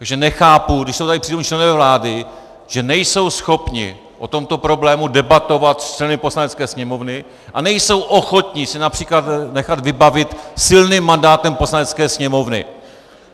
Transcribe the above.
Takže nechápu, když jsou tady přítomni členové vlády, že nejsou schopni o tomto problému debatovat s členy Poslanecké sněmovny a nejsou ochotni se například nechat vybavit silným mandátem Poslanecké sněmovny.